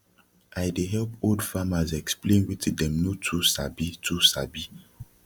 i dey help old farmers explain wetin dem no too sabi too sabi